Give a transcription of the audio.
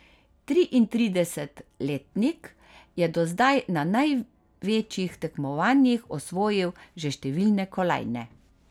Triintridesetletnik je do zdaj na največjih tekmovanjih osvojil že številne kolajne.